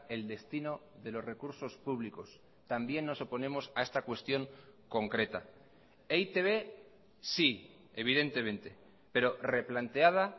el destino de los recursos públicos también nos oponemos a esta cuestión concreta eitb sí evidentemente pero replanteada